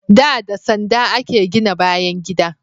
Da, da sanda a ke gina bayan gida